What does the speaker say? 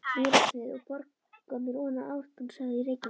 Mýrarsnið úr Borgarmýri ofan Ártúnshöfða í Reykjavík.